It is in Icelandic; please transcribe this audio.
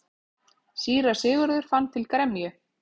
Síra Sigurður fann til gremju.